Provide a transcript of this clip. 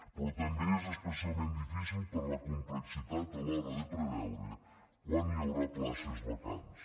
però també és especialment difícil per la complexitat a l’hora de preveure quan hi haurà places vacants